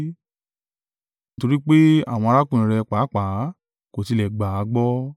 Nítorí pé àwọn arákùnrin rẹ̀ pàápàá kò tilẹ̀ gbà á gbọ́.